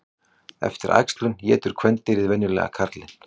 Eftir æxlun étur kvendýrið venjulega karlinn.